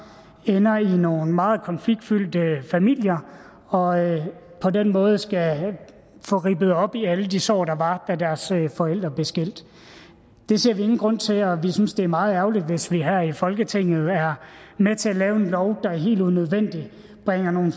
ender i nogle meget konfliktfyldte familier og på den måde skal få rippet op i alle de sår der var da deres forældre blev skilt det ser vi ingen grund til og vi synes det er meget ærgerligt hvis vi her i folketinget er med til at lave en lov der helt unødvendigt bringer nogle